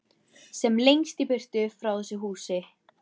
Sem lengst í burtu frá þessu húsi.